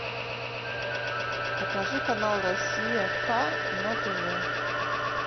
покажи канал россия к на тв